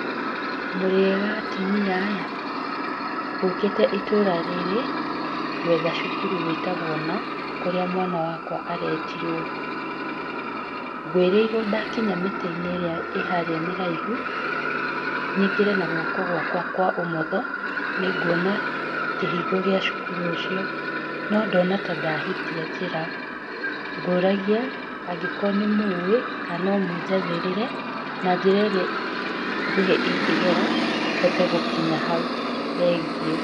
Ndarĩkia gũcimba mũgũnda wakwa na gũtema marima, gũtema marima gatagatĩ ka raini arĩ fiti ithatũ na gatagatĩ, thĩinĩ wa raini arĩ fiti ĩmwe, njokaga ngagũra mbembe ĩrĩa nginyanĩru na ĩkĩrĩtwo wũira nĩ mbembe nginyanĩru ya kũhanda, ngoka handĩtĩte mbembe igĩrĩ igĩrĩ na ngacoka ngekĩra bataraitha ngacoka ngathika marima mau, thutha wa ciumia ithatũ ngarĩmĩra mbembe ĩyo na njĩra kũhũthĩra icembe na ngacoka ngorera bataraitha ĩngĩ, thutha wa kiumia kĩngĩ kĩmwe ngacoka kuo o rĩngĩ, ngarĩmĩra mbembe ĩyo rĩngĩ na ngamĩthikĩrĩra, na wona ndarĩkia kũmĩthikĩrĩra ngekĩra bataraitha ya mũico ya gatatũ na ngeterera ĩkũre na kũhuhĩra kĩgunyũ.